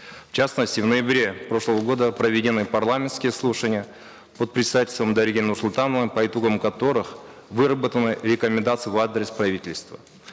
в частности в ноябре прошлого года проведены парламентские слушания под председательством дариги нурсултановны по итогам которых выработаны рекомендации в адрес правительства